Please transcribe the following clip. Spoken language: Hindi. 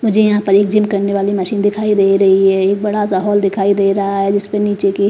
मुझे यहां पर एक जिम करने वाली मशीन दिखाई दे रही है एक बड़ा सा हॉल दिखाई दे रहा है जिस पे नीचे की --